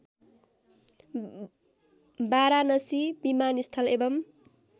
वाराणसी विमानस्थल एवं